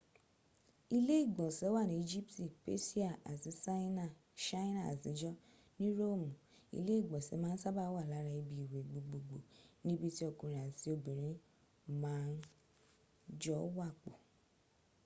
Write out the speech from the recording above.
ile igbonse wa ni ijipti pesia ati saina atijo ni roomu ile igbonse maa n saba wa lara ibi iwe gbogboogbo ni ibi ti okunrin ati obinrin ma n jo wapo